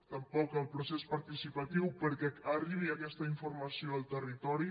tampoc el procés participatiu perquè arribi aquesta informació al territori